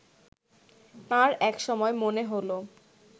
তাঁর একসময় মনে হলো